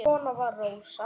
Svona var Rósa.